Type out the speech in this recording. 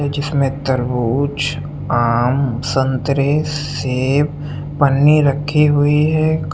जिसमें तरबूज आम संतरे सेब पन्नी रखी हुई है।